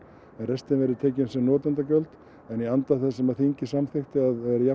restin verður tekin sem notendagjöld en í anda þess sem þingið samþykkti að